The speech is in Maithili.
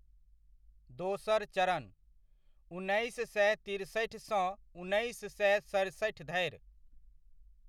दोसर चरणः उन्नैस सए तिरसठि सँ उन्नैस सए सतसठि धरि।